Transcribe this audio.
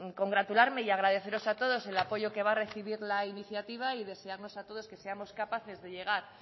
congratularme y agradeceros a todo el apoyo que va a recibir la iniciativa y desearnos a todos que seamos capaces de llegar